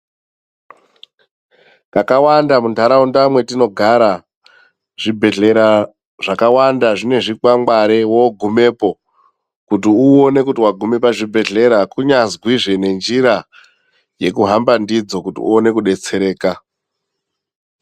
Kakawanda mundaraunda mwetinogara zvibhedhelera zvakawanda zvinezvi kwangwari wogumepo kuti uone kuti waguma pazvibhedhlera kunyazwizve nenjira yekuhamba ndidzo kuti uone kubetsereka.